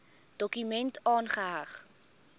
dokument aangeheg